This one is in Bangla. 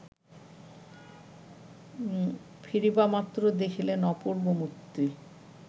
ফিরিবামাত্র দেখিলেন, অপূর্ব মূর্তি